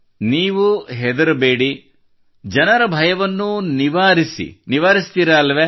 ನೀವು ಹೆದರಬೇಡಿ ಜನರ ಭಯವನ್ನೂ ನಿವಾರಿಸಿ ನಿವಾರಿಸುವಿರಲ್ಲವೇ